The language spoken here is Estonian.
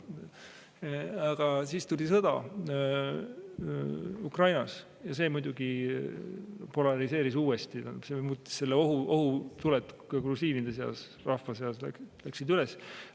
Aga siis tuli sõda Ukrainas ja see muidugi polariseeris uuesti, ohutuled ka grusiinide seas, rahva seas.